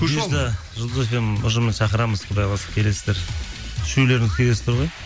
жұлдыз фм ұжымын шақырамыз құдай қаласа келесіздер үшеулеріңіз келесіздер ғой